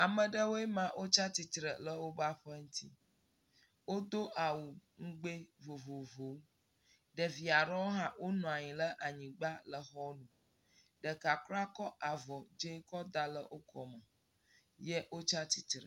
Ame ɖewo ma. Wotsa tsitre ɖe woƒe aƒe ŋuti. Wodo awu ŋgbe vovovo. Ɖevi aɖewo hã wonɔ anyi le anyigba le xɔ me. Ɖeka kuraa kɔ avɔ dzi kɔda le wo kɔme ye wotsi tsitre.